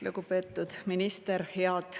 Lugupeetud minister!